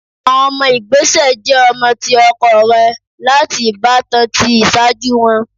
Awọn ọmọ igbesẹ jẹ ọmọ ti ọkọ rẹ lati ibatan ti iṣaaju wọn